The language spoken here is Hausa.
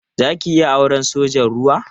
Za ki iya auren sojan ruwa?